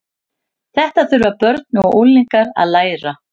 Þetta þurfa börn og unglingar að læra.